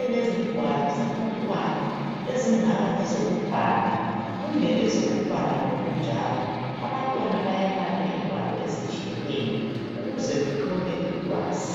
elezingwalo zabantwana ezingaba ngezokubhala kumbe ezokubala ngokunjalo. Abantwana bayabala ingwalo ezitshiyeneyo ukuze bethole ulwazi.